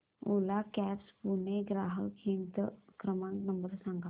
ओला cabs Pune चा ग्राहक हित क्रमांक नंबर सांगा